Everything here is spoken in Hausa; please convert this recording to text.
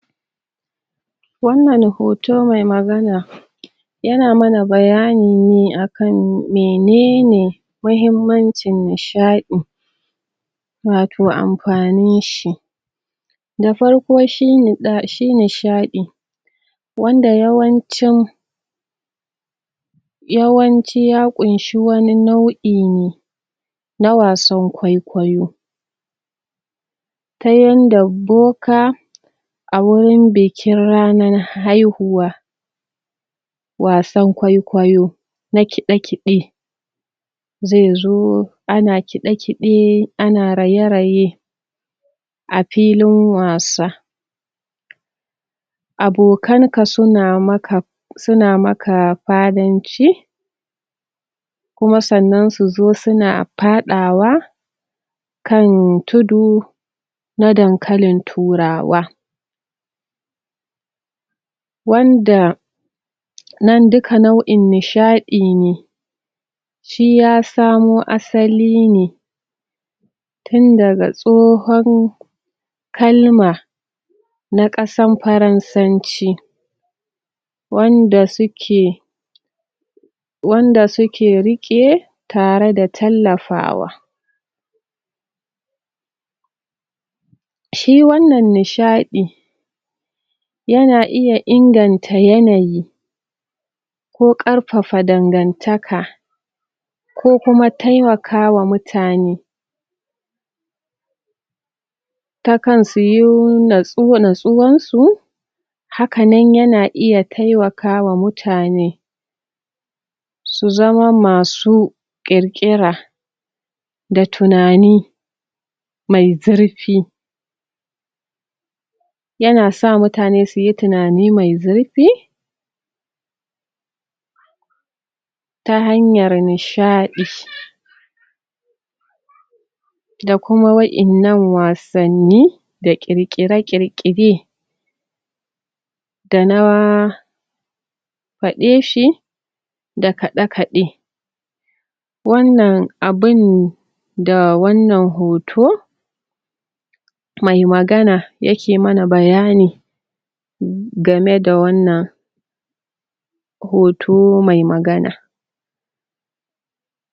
Wannan hoto mai magana yana mana bayani ne akan menene mahimmacin nishaɗi watau amfanin shi da farko shi nishaɗi wanda yawancin yawanci ya ƙunshi wani nau'i ne na wasan kwaikwayo ta yanda boka a wurin bikin ranan haihuwa wasan kwaikwayo na kiɗe-kiɗe zai zo ana kiɗe-kiɗe ana raye-raye a filin wasa abokan ka suna maka suna maka fadanci kuma sannan su zo suna faɗawa kan tudu na dankalin turawa wanda nan duka nau'in nishaɗi ne shi ya samo asali ne tun daga tsohon kalma na ƙasan faransanci wanda suke wanda suke riƙe tare da tallafawa Shi wannan nishaɗi yana iya inganta yanayi ko ƙarfafa dangantaka ko kuma taimakawa mutane takan suyi natsuwansu haka nan yana iya taimakawa mutane Su zama masu ƙirƙira da tunani mai zurfi yana sa mutane suyi tunani mai zurfi ta hanyar nishaɗi da kuma wa'innan wasanni da ƙirƙire-ƙirƙire ta da faɗe shi da kaɗe-kaɗe wannan abun da wannan hoto mai magana yake mana bayani game da wannan hoto mai magana